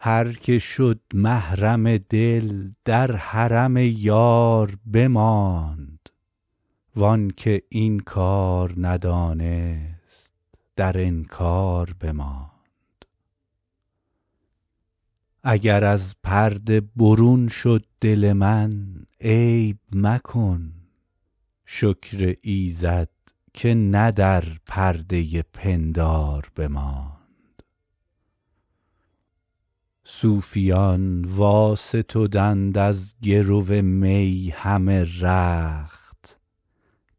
هر که شد محرم دل در حرم یار بماند وان که این کار ندانست در انکار بماند اگر از پرده برون شد دل من عیب مکن شکر ایزد که نه در پرده پندار بماند صوفیان واستدند از گرو می همه رخت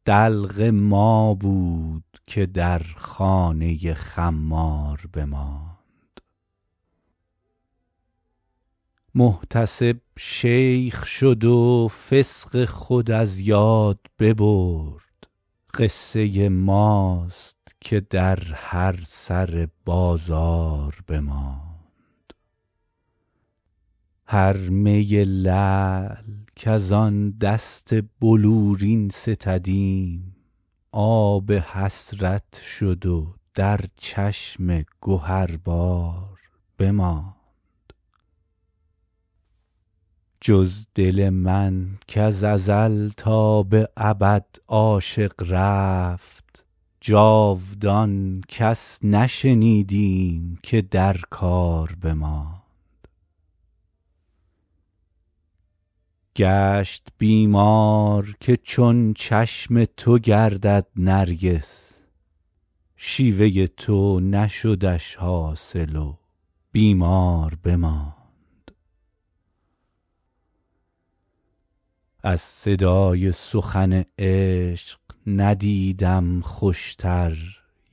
دلق ما بود که در خانه خمار بماند محتسب شیخ شد و فسق خود از یاد ببرد قصه ماست که در هر سر بازار بماند هر می لعل کز آن دست بلورین ستدیم آب حسرت شد و در چشم گهربار بماند جز دل من کز ازل تا به ابد عاشق رفت جاودان کس نشنیدیم که در کار بماند گشت بیمار که چون چشم تو گردد نرگس شیوه تو نشدش حاصل و بیمار بماند از صدای سخن عشق ندیدم خوشتر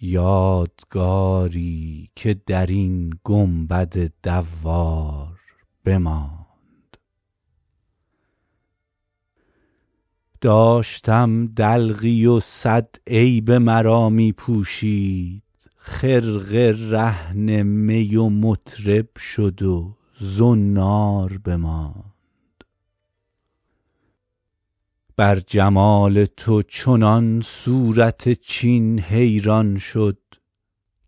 یادگاری که در این گنبد دوار بماند داشتم دلقی و صد عیب مرا می پوشید خرقه رهن می و مطرب شد و زنار بماند بر جمال تو چنان صورت چین حیران شد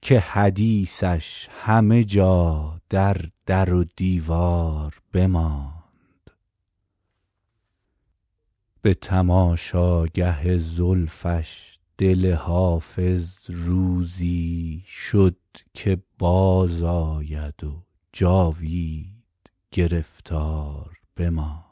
که حدیثش همه جا در در و دیوار بماند به تماشاگه زلفش دل حافظ روزی شد که بازآید و جاوید گرفتار بماند